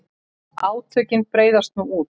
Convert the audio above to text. Átökin breiðast nú út.